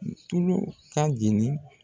Tulu ka jeni